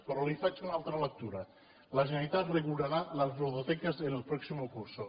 però li faig una altra lectura la generalitat regulará las ludotecas en el próximo curso